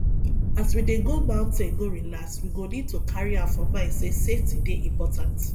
as we dey go mountain go relax we go need to carry am for mind sey safety dey important